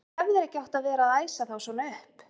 Þú hefðir ekki átt að vera að æsa þá svona upp!